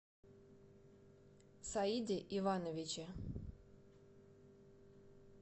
саиде ивановиче